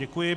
Děkuji.